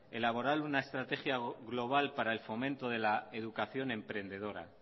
elaborar una estrategia global para el fomento de la educación emprendedora